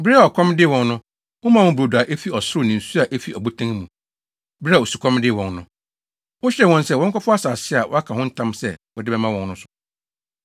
Bere a ɔkɔm dee wɔn no, womaa wɔn brodo a efi ɔsoro ne nsu a efi ɔbotan mu, bere a osukɔm dee wɔn no. Wohyɛɛ wɔn sɛ wɔnkɔfa asase a woaka ho ntam sɛ wode bɛma wɔn no.